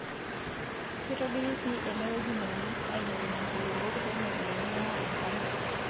Keitobiri sii enewueji neunieki aailepunye nkulupuok penyo pee meya enkare.